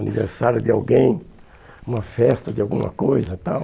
Aniversário de alguém, uma festa de alguma coisa e tal.